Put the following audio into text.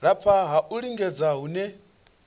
lafha ha u lingedza hune